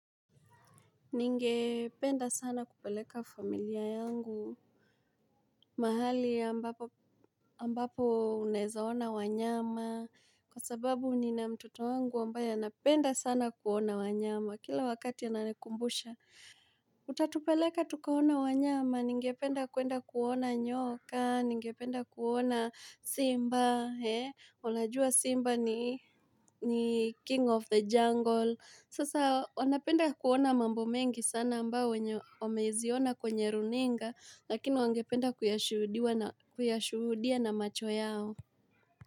Ningependa sana kupeleka familia yangu. Mahali ambapo ambapo unaeza ona wanyama. Kwa sababu nina mtoto wangu ambaye anapenda sana kuona wanyama. Kila wakati ananikumbusha. Utatupeleka tukaone wanyama? Ningependa kuenda kuona nyoka. Ningependa kuona Simba. Unajua Simba ni ni king of the jungle. Sasa wanapenda kuona mambo mengi sana ambao wameziona kwenye runinga lakini wangependa kuyashuhudia na macho yao.